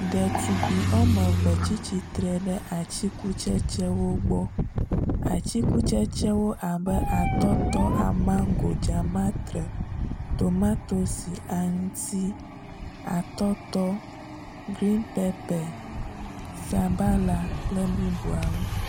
ɖetugbi wɔmeve tsitsitre ɖe atsikutsetsewo gbɔ atsikutsetsewo abe atɔtɔ amago dzamatre tomatosi aŋuti atɔtɔ green pepper sabala kple bubuawo